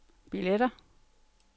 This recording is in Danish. billetter